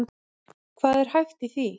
Hvað er hæft í því?